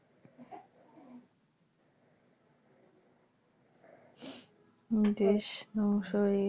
দেশ .